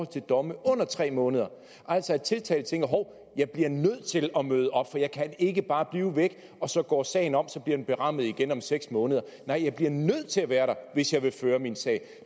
til domme under tre måneder altså at tiltalte tænker hov jeg bliver nødt til at møde op for jeg kan ikke bare blive væk og så går sagen om og så bliver den berammet igen om seks måneder nej jeg bliver nødt til at være der hvis jeg vil føre en sag